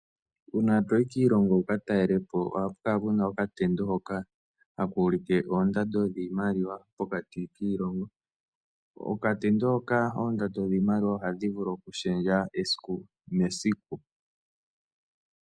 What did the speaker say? Uuna to yi kiilongo wu ka talele po ohaku kala ku na okatendo hoka haka ulike oondando dhiimaliwa pokati kiilongo. Okatendo hoka oondando dhiimaliwa ohadhi vulu okushendja esiku nesiku.